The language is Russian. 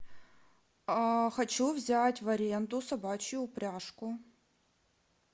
хочу взять в аренду собачью упряжку